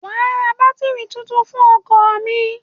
Wàá ra bátírì tuntun fún ọkọ̀ mi.